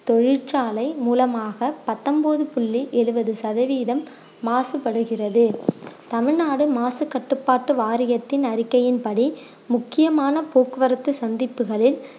தொழிற்சாலை மூலமாக பத்தொம்போது புள்ளி எழுவது சதவீதம் மாசுபடுகிறது தமிழ்நாடு மாசு கட்டுப்பாட்டு வாரியத்தின் அறிக்கையின்படி முக்கியமான போக்குவரத்து சந்திப்புகளில்